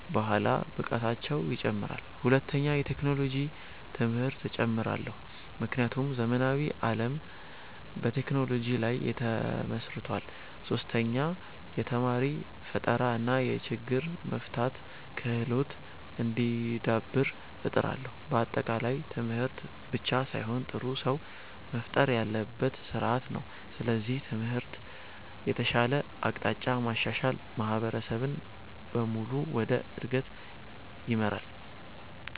በኋላ ብቃታቸው ይጨምራል። ሁለተኛ፣ የቴክኖሎጂ ትምህርት እጨምራለሁ፣ ምክንያቱም ዘመናዊ ዓለም በቴክኖሎጂ ላይ ተመስርቷል። ሶስተኛ፣ የተማሪ ፈጠራ እና የችግር መፍታት ክህሎት እንዲዳብር እጥራለሁ። በአጠቃላይ ትምህርት ብቻ ሳይሆን ጥሩ ሰው መፍጠር ያለበት ስርዓት ነው። ስለዚህ ትምህርትን ከተሻለ አቅጣጫ ማሻሻል ማህበረሰብን በሙሉ ወደ እድገት ይመራል።